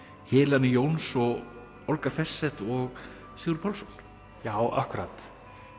Helena Jóns og Olga Færseth og Sigurður Pálsson já akkúrat